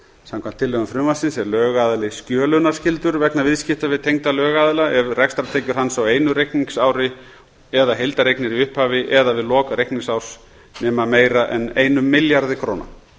samkvæmt tillögum frumvarpsins er lögaðili skjölunarskyldur vegna viðskipta við tengda lögaðila ef rekstrartekjur hans á einu reikningsári eða heildareignir í upphafi eða við lok reikningsárs nema meira en einum milljarði króna